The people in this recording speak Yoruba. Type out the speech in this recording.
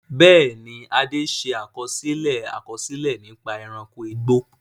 Bẹ́ẹ̀ni, Ade ṣe àkọsílẹ̀ àkọsílẹ̀ nípa ẹranko igbó.